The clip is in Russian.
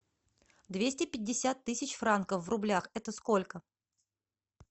двести пятьдесят тысяч франков в рублях это сколько